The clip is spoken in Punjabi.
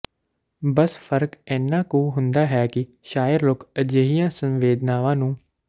ਬੱਸ ਫ਼ਰਕ ਏਨਾ ਕੂ ਹੁੰਦਾ ਹੈ ਕਿ ਸ਼ਾਇਰ ਲੋਕ ਅਜਿਹੀਆਂ ਸੰਵੇਦਨਾਵਾਂ ਨੂੰ